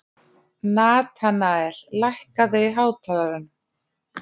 Natanael, lækkaðu í hátalaranum.